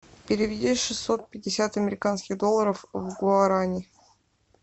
переведи шестьсот пятьдесят американских долларов в гуарани